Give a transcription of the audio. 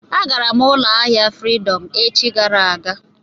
Agara m ụlọ ahịa Fridọm echi gara aga.